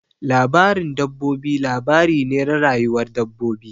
Labarin dabbobi labari ne na rayuwar dabbobi.